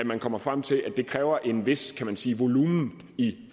man kommer frem til at det kræver en vis kan man sige volumen i